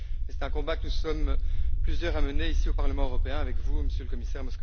C'est un combat que nous sommes plusieurs à mener ici au Parlement européen avec vous, Monsieur le Commissaire.